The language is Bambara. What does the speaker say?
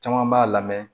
Caman b'a lamɛn